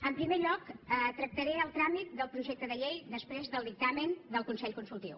en primer lloc tractaré el tràmit del projecte de llei després del dictamen del consell consultiu